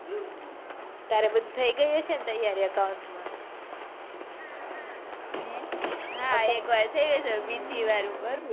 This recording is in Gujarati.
તારે બધા થઇ ગયી છે ને તૈયારી account માં હા એક વાર જોયું છે બીજી વાર ઉપર,